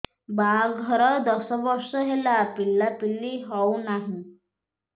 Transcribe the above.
ବାହାଘର ଦଶ ବର୍ଷ ହେଲା ପିଲାପିଲି ହଉନାହି